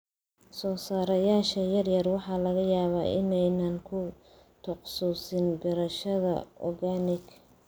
Soo saarayaasha yaryari waxa laga yaabaa in aanay ku takhasusin beerashada organic.